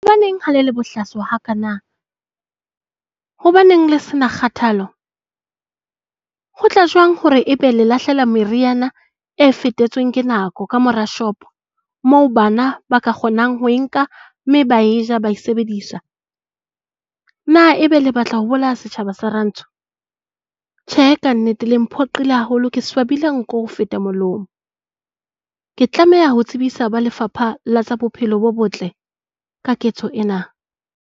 Hobaneng ha le le bohlaswa ha kaana? Hobaneng le se na kgathalo? Ho tla jwang hore e be le lahlela meriana e fetetsweng ke nako ka mora shop-o moo bana ba ka kgonang ho e nka mme ba e ja, ba e sebedisa? Na ebe le batla ho bolaya setjhaba sa rantsho? Tjhe! Ka nnete, le mphoqile haholo. Ke swabile nko ho feta molomo. Ke tlameha ho tsebisa ba Lefapha la tsa Bophelo bo Botle ka ketso ena.